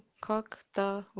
как-то